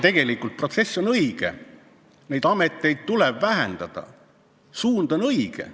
Tegelikult on protsess õige, ametite arvu tuleb vähendada, suund on õige.